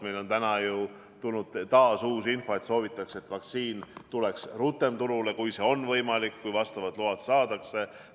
Meile on täna ju tulnud taas uus info – soovitakse, et vaktsiin tuleks rutem turule, juhul kui see on võimalik ja kui vastavad load saadakse.